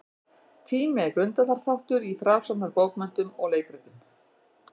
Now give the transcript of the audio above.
Tími er grundvallarþáttur í frásagnarbókmenntum og leikritum.